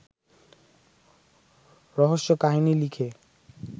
রহস্যকাহিনী লিখে